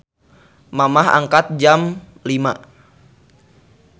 Mamah angkat jam 05.00